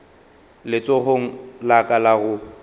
letsogong la ka la go